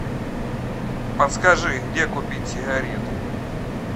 подскажи где купить сигарет